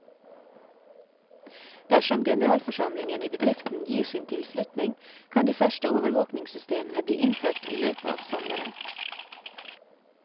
Dersom generalforsamlingen i bedriften gir sin tilslutning, kan de første overvåkingssystemene bli innført i løpet av sommeren.